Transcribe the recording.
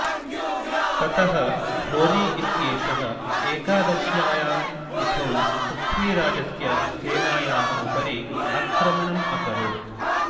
ततः घोरी इत्येषः एकादश्यायां तिथौ पृथ्वीराजस्य सेनायाः उपरि आक्रमणम् अकरोत्